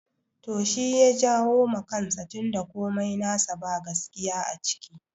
To shi ya jawo ma kansa tun da komai nasa ba gaskiya a ciki